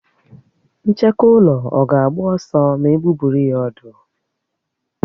Ncheke ụlọ ọ̀ ga-agba ọsọ ma egbubiri ya ọ̀dú?